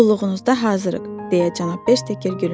Qulluğunuzda hazırıq, deyə cənab Bersteker gülümsündü.